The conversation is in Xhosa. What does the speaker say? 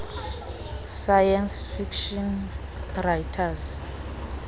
science fiction writers